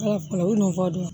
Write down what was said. nɔgɔ don